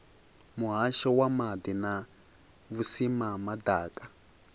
muhasho wa maḓi na vhusimama ḓaka